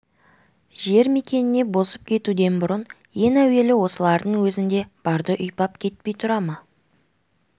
жер мекеніне босып кетуден бұрын ең әуелі осылардың өзінде барды ұйпап кетпей тұра ма